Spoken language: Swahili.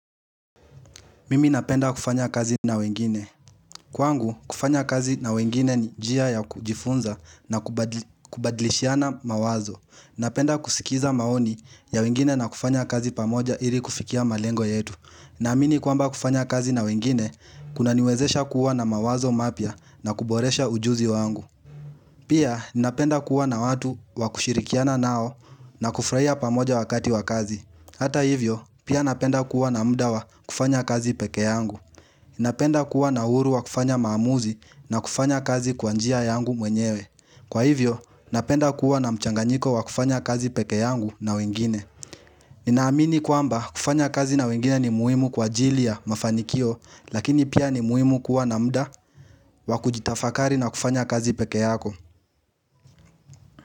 Mimi napenda kufanya kazi na wengine. Kwangu, kufanya kazi na wengine ni njia ya kujifunza na kubadlishiana mawazo. Napenda kusikiza maoni ya wengine na kufanya kazi pamoja ili kufikia malengo yetu. Na amini kwamba kufanya kazi na wengine, kuna niwezesha kuwa na mawazo mapya na kuboresha ujuzi wangu. Pia, napenda kuwa na watu wakushirikiana nao na kufraia pamoja wakati wakazi. Hata hivyo, pia napenda kuwa na muda wa kufanya kazi peke yangu. Napenda kuwa na uhuru wa kufanya maamuzi na kufanya kazi kwanjia yangu mwenyewe Kwa hivyo, napenda kuwa na mchanganyiko wa kufanya kazi peke yangu na wengine Ninaamini kuamba kufanya kazi na wengine ni muhimu kwa jilia mafanikio Lakini pia ni muhimu kuwa na mda wakujitafakari na kufanya kazi peke yako.